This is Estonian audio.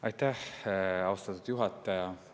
Aitäh, austatud juhataja!